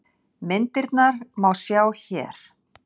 Myndirnar má sjá hér